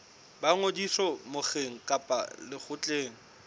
ba ngodiso mokgeng kapa lekgotleng